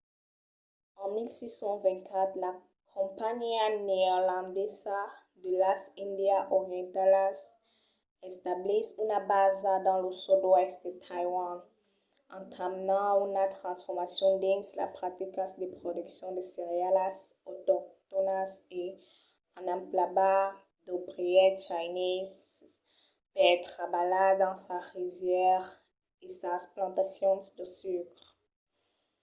en 1624 la companhiá neerlandesa de las índias orientalas establís una basa dans lo sud-oèst de taiwan entamenant una transformacion dins las practicas de produccion de cerealas autoctònas e en emplegar d'obrièrs chineses per trabalhar dans sas risièras e sas plantacions de sucre